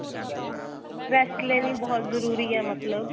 rest ਲੈਣੀ ਬਹੁਤ ਜਰੂਰੀ ਏ ਮਤਲਬ